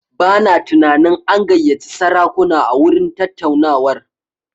Bana tunanin an gayyaci sarakuna a gurin tattaunawar.